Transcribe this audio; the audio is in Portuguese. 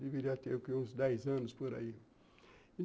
Deveria ter o quê, uns dez anos por aí.